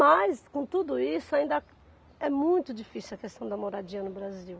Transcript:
Mas, com tudo isso, ainda é muito difícil a questão da moradia no Brasil.